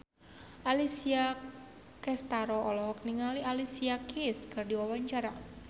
Alessia Cestaro olohok ningali Alicia Keys keur diwawancara